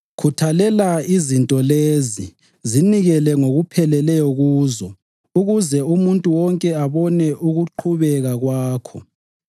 Khuthalela izinto lezi; zinikele ngokupheleleyo kuzo ukuze umuntu wonke abone ukuqhubeka kwakho.